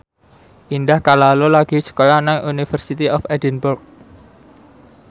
Indah Kalalo lagi sekolah nang University of Edinburgh